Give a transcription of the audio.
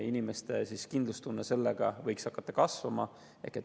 Inimeste kindlustunne võiks hakata seetõttu kasvama.